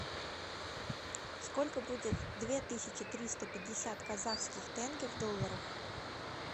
сколько будет две тысячи триста пятьдесят казахских тенге в долларах